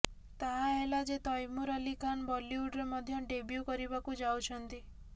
ତାହା ହେଲା ଯେ ତୈମୁର ଅଲ୍ଲୀ ଖାନ୍ ବଲିଉଡରେ ମଧ୍ୟ ଡେବ୍ୟୁ କରିବାକୁ ଯାଉଛନ୍ତି